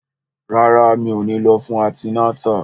Rárá, mi ò ní lọ fún antinátà